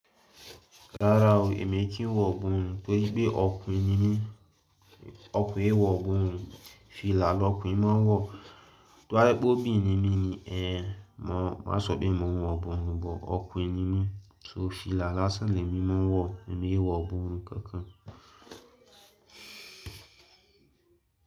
Rárá o, èmi kìí wọ iborùn, torí pé ọkùnrin ni mí, ọkùnrin é wọ iborùn. Fìlà lọ̀kunrin máa ń wọ, tó bá pè óbírin ní mí ni, má sọbírin mo ń wọ iborùn, bọ̀ ọ̀kunrin ni mí, so fìlà lásán lè mí máa ń wọ, èmi kìí wọ iborùn kankan.